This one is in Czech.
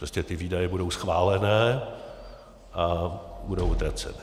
Prostě ty výdaje budou schválené a budou utracené.